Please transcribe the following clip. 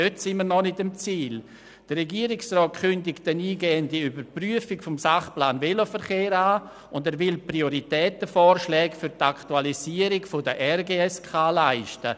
Der Regierungsrat kündigt eine eingehende Überprüfung des Sachplans Veloverkehr an und will Prioritäten für die Aktualisierung der Regionalen Gesamtverkehrs- und Siedlungskonzepte (RGSK) vorschlagen.